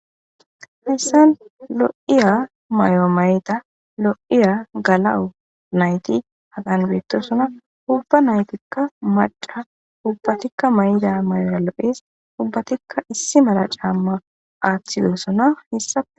Hessan lo7iya may7o mayda lo7iya gala7u nayti hagan beettosona ubba naytikka madha ubbatikka may7da may7ora lo7es ubbatikka issi mala caamma aaththidosona hissa.